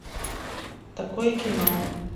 такое кино